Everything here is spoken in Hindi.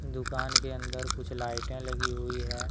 दुकान के अंदर कुछ लाइटें लगी हुई है।